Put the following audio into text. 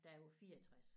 Da jeg var 64